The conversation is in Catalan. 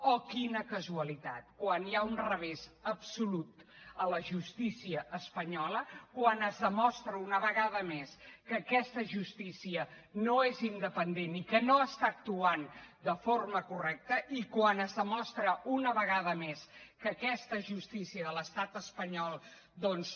oh quina casualitat quan hi ha un revés absolut a la justícia espanyola quan es demostra una vegada més que aquesta justícia no és independent i que no està actuant de forma correcta i quan es demostra una vegada més que aquesta justícia de l’estat espanyol doncs